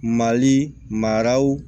Mali maraw